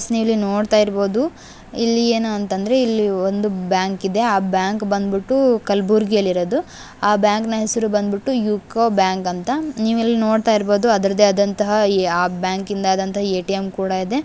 So ಇಲ್ಲಿ ನೋಡ್ತಾ ಇರ್ಬಹುದು ಇಲ್ಲಿ ಏನು ಅಂತಂದ್ರೆ ಇಲ್ಲಿ ಒಂದು ಬ್ಯಾಂಕ್ ಇದೆ ಆ ಬ್ಯಾಂಕ್ ಬಂದುಬಿಟ್ಟು ಕಲ್ಬುರ್ಗಿಯಲ್ಲಿರೋದು ಆ ಬ್ಯಾಂಕನ ಹೆಸರು ಬಂದ್ಬಿಟ್ಟು ಯುಕೋ ಬ್ಯಾಂಕ್ ಅಂತ ನೀವು ಇಲ್ಲಿ ನೋಡ್ತಾ ಇರ್ಬಹುದು ಅದರದೇ ಆದಂತಹ ಆ ಬ್ಯಾಂಕ್ ನ ಎ.ಟಿ.ಎಂ ಕೂಡ ಇದೆ .